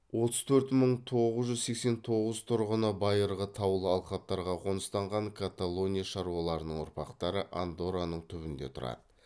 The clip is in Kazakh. отыз төрт мың тоғыз жүз сексен тоғыз тұрғыны байырғы таулы алқаптарға қоныстанған каталония шаруаларының ұрпақтары андорраның түбінде тұрады